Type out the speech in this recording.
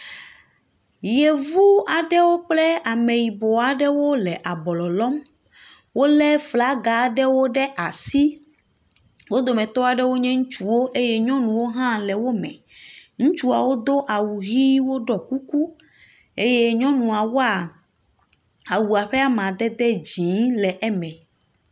Yevu aɖewo kple ame yibɔ aɖewo le ablɔ lɔm. Wolé flaga aɖewo ɖe asi. Wo dometɔ aɖewo nye ŋnutsuwo eye nyɔnuwo hã le wo me. Ŋutsuawo do awu ʋi eye woɖɔ kuku eye nyɔnuwoa, awua ƒe amadede dzɛ̃ le eme.